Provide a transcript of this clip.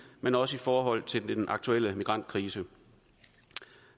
men også i forhold til den aktuelle migrantkrise